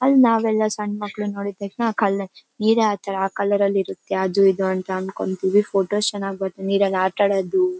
ಅಲ್ ನಾವೆಲ್ಲಾ ಸಣ್ಣ್ ಮಕ್ಕಾಳನ್ನೆಲ್ಲ ನೋಡಿದ್ ತಕ್ಷಣ್ ಆ ಕಕಲ್ ನೀರೇ ಆತರ ಕಲರ್ ಅಲ್ಲಿ ಇರುತ್ತೆ ಅದು ಇದು ಅಂದ್ಕೋತೀವಿ ಫೋಟೋ ಚೆನ್ನಾಗ್ ಬರಲ್ಲ ನೀರಲ್ ಆಟ ಆಡೋದು --